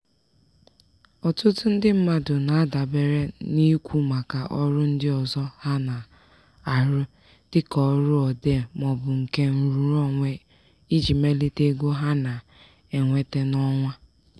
ọtụtụ ndị mmadụ na-adabere n'ikwu maka ọrụ ndị ọzọ ha na-arụ dịka ọrụ odee maọbụ nke nrụrụonwe iji melite ego ha na-enweta n'ọnwa.